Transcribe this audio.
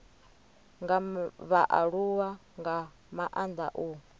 nga vhaaluwa nga maanda u